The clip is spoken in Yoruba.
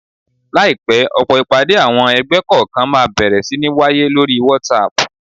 Láìpẹ́, ọ̀pọ̀ ìpàdé àwọn ẹgbẹ́ kọ̀ọ̀kan máa bẹ̀rẹ̀ sí ní wáyé lóri whatsapp